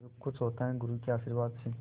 जो कुछ होता है गुरु के आशीर्वाद से